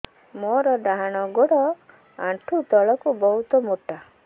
ମୋର ଡାହାଣ ଗୋଡ ଆଣ୍ଠୁ ତଳୁକୁ ବହୁତ ମୋଟା